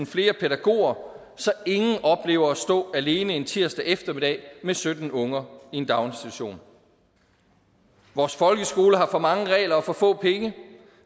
flere pædagoger så ingen oplever at stå alene en tirsdag eftermiddag med sytten unger i en daginstitution vores folkeskole har for mange regler og for få penge